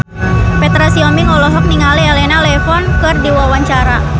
Petra Sihombing olohok ningali Elena Levon keur diwawancara